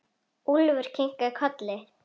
Úlfur kinkar kolli.